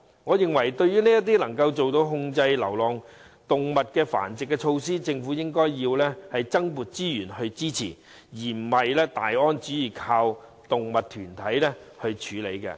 我認為對於能有效控制流浪動物繁殖的措施，政府應增撥資源支持，而不是"大安旨意"依靠動物團體來處理。